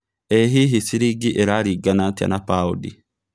ĩ hihi ciringi ĩrarigana atĩa na paũndi